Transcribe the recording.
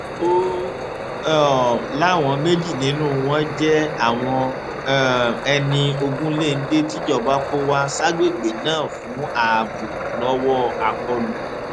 ó um láwọn méjì nínú wọn jẹ àwọn um ẹni ogunléndé tìjọba kó wá ságbègbè náà fún ààbò lọwọ àkọlù